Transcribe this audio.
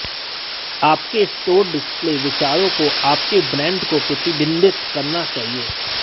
आपके store display विचारों को आपके ब्रांड को प्रतिबिंबित करना चाहिए